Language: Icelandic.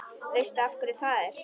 Veistu af hverju það er?